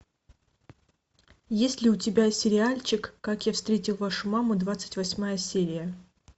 есть ли у тебя сериальчик как я встретил вашу маму двадцать восьмая серия